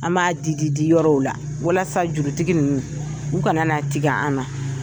An b'a di di di yɔrɔw la, walasa jurutigi ninnu u kana na tigɛ an na.